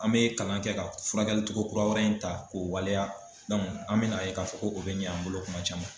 An mɛ kalan kɛ ka furakɛlicogo kura wɛrɛ in ta k'o waleya an mɛna ye k'a fɔ ko o bɛ ɲ'an bolo kuma caman.